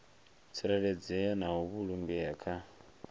tsireledzea na u vhulungea kha